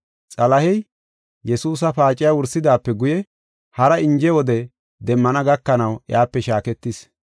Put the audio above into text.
Xalahey Yesuusa paaciya wursidaape guye hara inje wode demmana gakanaw iyape shaaketis.